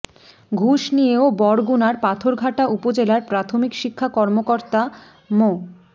ঘুষ নিয়েও বরগুনার পাথরঘাটা উপজেলার প্রাথমিক শিক্ষা কর্মকর্তা মো